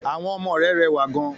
Àwọn ọmọ re rẹwà gan